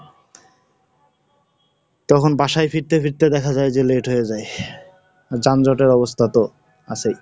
তখন বাসায় ফিরতে ফিরতে দেখা যায় যে late হয়ে যায়, যানজটের অবস্থা তো, আছেই।